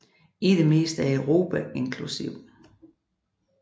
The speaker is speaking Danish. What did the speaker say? I det meste af Europa inkl